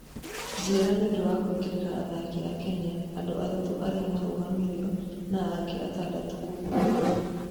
njera nĩũndũ wa kuingĩrĩra athaki a Kenya, Andũ atatũ ariamaroragirwo na angĩ atandatũ kũgũrario